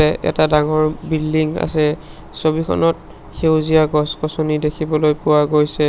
এ এটা ডাঙৰ বিল্ডিং আছে ছবিখনত সেউজীয়া গছ-গছনি দেখিবলৈ পোৱা গৈছে।